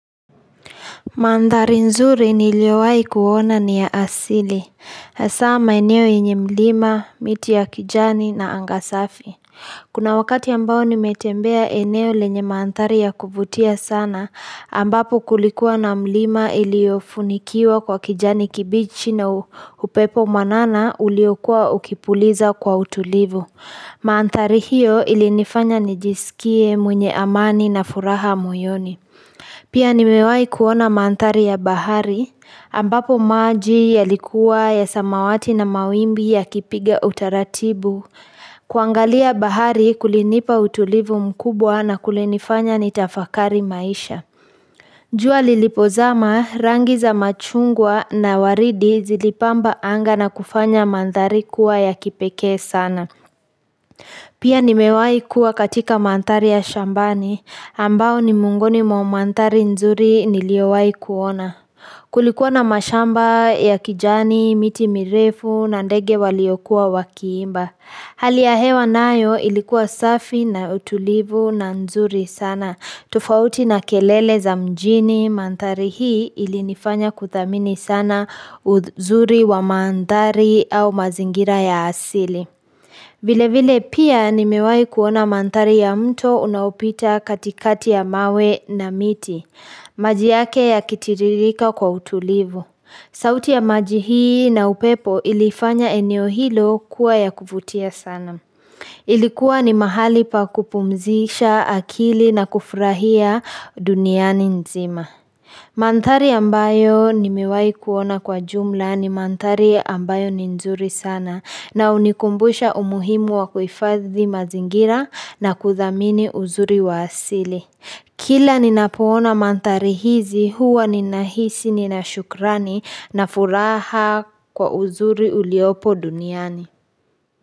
Mandhari nzuri niliowahi kuona ni ya asili. Hasaa maeneo yenye mlima, miti ya kijani na angasafi. Kuna wakati ambao nimetembea eneo lenye madhari ya kuvutia sana, ambapo kulikuwa na mlima iliyofunikiwa kwa kijani kibichi na upepo mwanana uliokuwa ukipuliza kwa utulivu. Maandhari hiyo ilinifanya nijisikie mwenye amani na furaha moyoni. Pia nimewahi kuona mandhari ya bahari, ambapo maji yalikuwa ya samawati na mawimbi yakipiga utaratibu, kuangalia bahari kulinipa utulivu mkubwa na kulinifanya ni tafakari maisha. Jua lilipozama rangi za machungwa na waridi zilipamba anga na kufanya mantari kuwa ya kipeke sana. Pia nimewahi kuwa katika mandhari ya shambani, ambao ni miongoni mwa mandhari nzuri niliowahi kuona. Kulikuwa na mashamba ya kijani, miti mirefu, na ndege waliokuwa wakiimba. Hali ya hewa nayo ilikuwa safi na utulivu na nzuri sana. Tofauti na kelele za mjini mantadhari hii ilinifanya kuthamini sana uzuri wa mandhari au mazingira ya asili. Vile vile pia nimewahi kuona mandhari ya mto unaopita katikati ya mawe na miti, maji yake yakitiririka kwa utulivu. Sauti ya maji hii na upepo ilifanya eneo hilo kuwa ya kufutia sana. Ilikuwa ni mahali pa kupumzisha akili na kufurahia duniani nzima. Mandhari ambayo nimewahi kuona kwa jumla ni mandhari ambayo ni nzuri sana na hunikumbusha umuhimu wa kuhifadhi mazingira na kuthamini uzuri wa asili Kila ninapoona mandhari hizi huwa ninahisi ninashukrani na furaha kwa uzuri uliopo duniani.